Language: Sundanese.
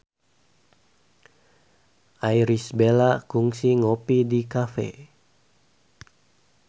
Irish Bella kungsi ngopi di cafe